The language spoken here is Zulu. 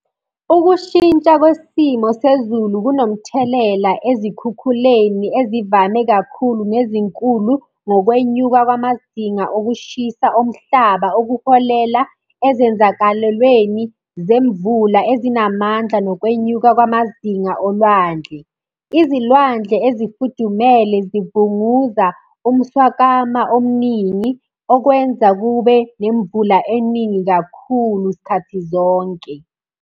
Ukushintsha kwesimo sezulu kunomthelela ezikhukhuleni ezivame kakhulu nezinkulu, ngokwenyuka kwamazinga okushisa omhlaba okuholela ezenzakalweleni zemvula ezinamandla nokwenyuka kwamazinga olwandle. Izilwandle ezifudumele zivunguza umswakama omningi, okwenza kube nemvula eningi kakhulu sikhathi zonke.